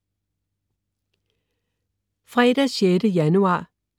Fredag den 6. januar